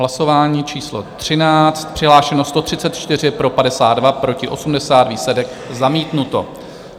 Hlasování číslo 13, přihlášeno 134, pro 52, proti 80, výsledek: zamítnuto.